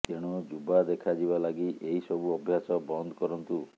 ତେଣୁ ଯୁବା ଦେଖାଯିବା ଲାଗି ଏହି ସବୁ ଅଭ୍ୟାସ ବନ୍ଦ କରନ୍ତୁ